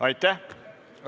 Aitäh!